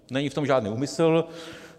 Není v tom žádný úmysl.